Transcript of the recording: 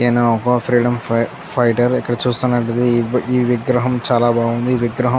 ఈనొక freedom fighter ఇక్కడ చూస్తున్నట్లయితే ఈ విగ్రహం చాలా బాగుంది.